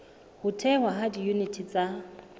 ho thehwa ha diyuniti tsa